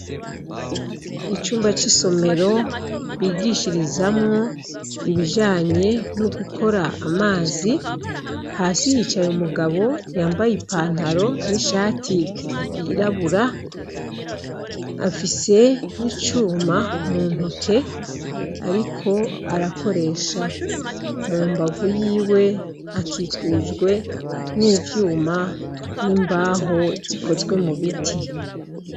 Icumba c'isomero bigishirizamwo ibijanye no gukora amazi, hasi hicaye umugabo yambaye I pantaro n'ishati yirabura, afise n'icuma muntoke ariko arakoresha. Mumbavu yiwe akikujwe n'ivyuma n'imbaho zikozwe mubiti.